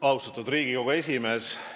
Austatud Riigikogu esimees!